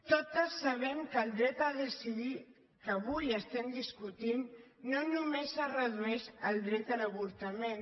totes sabem que el dret a decidir que avui estem discutint no només es redueix al dret a l’avortament